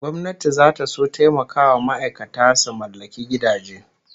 Gwamnati zata son taimakawa ma'aikata su mallaki gidaje